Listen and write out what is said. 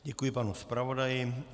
Děkuji panu zpravodaji.